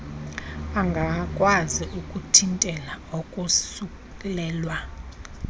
angakwazi ukuthintela ukosulelwa